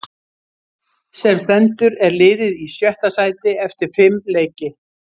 Sem stendur er liðið í sjötta sæti eftir fimm leiki.